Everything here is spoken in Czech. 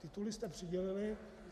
Tituly jste přidělili.